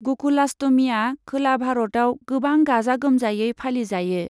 ग'कुलाष्टमीआ खोला भारतआव गोबां गाजा गोमजायै फालिजायो।